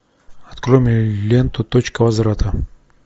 открой мне ленту точка возврата